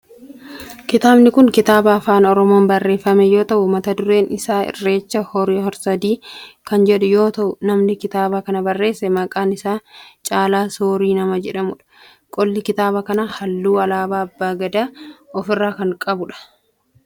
Kitaabni kun kitaaba afaan oromoon barreeffame yoo ta'u mata dureen isaa irreecha hora harsadii kan jedhu yoo ta'u namni kitaaba kana barreesse maqaan isaa Caalaa Soorii nama jedhamudha. Qolli kitaaba kanaa halluu alaabaa abbaa Gadaa of irraa qaba.